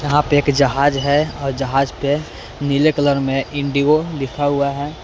पे एक जहाज है और जहाज पे नीले कलर में इंडिगो लिखा हुआ है।